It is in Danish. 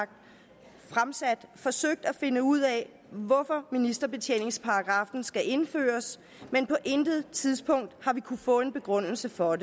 fremsat forsøgt at finde ud af hvorfor ministerbetjeningsparagraffen skal indføres men på intet tidspunkt har vi kunnet få en begrundelse for